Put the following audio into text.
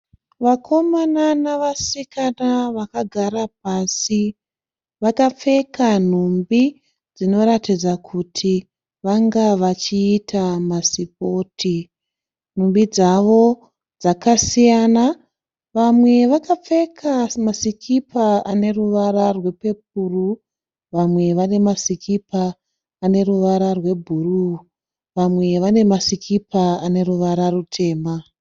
Vakomana navasikana vakagara pasi. Vakapfeka nhumbi dzinoratidza kuti vanga vachiita masipoti. Nhumbi dzavo dzakasiyana, vamwe vakapfeka masikipa ane ruvara rwepepuru, vamwe vane masikipa ane ruvara rwebhuruu, vamwe vane masikipa ane ruvara rutema